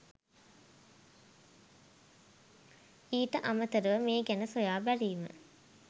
ඊට අමතරව මේ ගැන සොයා බැලීම